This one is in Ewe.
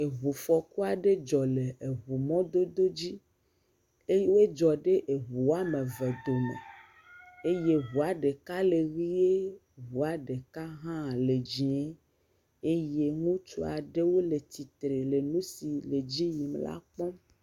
Ŋufɔku aɖe dzɔ le eŋumɔdodo dzi eye edzɔ ɖe eŋu wo ame eve dome eye ŋua ɖeka le ʋie, ŋua ɖeka hã le dziẽ eye ŋutsu aɖewo le tsitre le nu si le edzi yim la kpɔm.